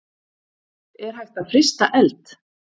Er hægt að frysta eld?